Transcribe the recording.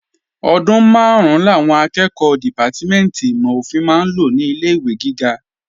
Ọdún máàrún làwọn akẹ́ẹ̀kọ́ dìpátímẹ̀ntì ìmọ̀-ofin máa ń lò ní ilé-ìwé gíga